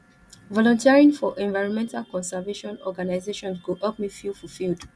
volunteering for environmental conservation organizations go help me feel fulfilled